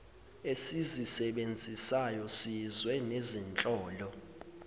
esizisebenzisayo siyizwe nezinhlolo